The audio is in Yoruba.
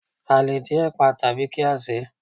A le dín ẹ̀pà tàbí kí á sèé.